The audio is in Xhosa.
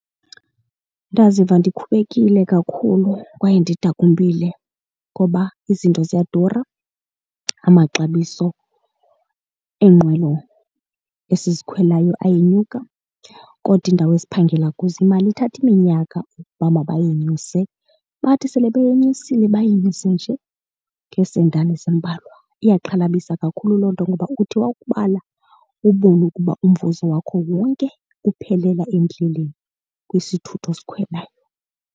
Ndanziva ndikhubekile kakhulu kwaye ndidakumbile ngoba izinto ziyadura, amaxabiso eenqwelo esizikhweleyo ayenyuka kodwa indawo esiphangela kuzo imali ithathe iminyaka ukuba mabayinyuse. Bathi sele beyinyusile, bayinyuse nje ngeesetana ezimbalwa. Iyaxhalabisa kakhulu loo nto ngoba uthi wakubala ubone ukuba umvuzo wakho wonke uphelela endleleni kwisithuthi osikhwelayo.